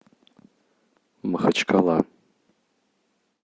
махачкала